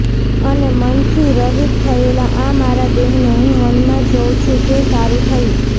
અને મન થી રહિત થયેલા આ મારા દેહને હું વનમાં જોઉં છું તે સારું થયું